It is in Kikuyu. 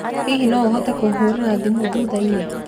Hihi no ũhote kũhũrĩra thimũ thutha-inĩ?